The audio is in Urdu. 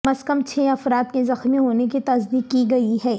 کم از کم چھ افراد کے زخمی ہونے کی تصدیق کی گئی ہے